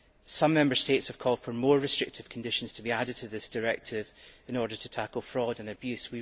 Some Member States have called for more restrictive conditions to be added to this directive in order to tackle fraud and abuse.